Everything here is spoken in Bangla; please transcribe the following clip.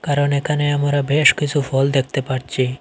কারণ এখানে আমরা বেশ কিসু ফল দেখতে পারছি।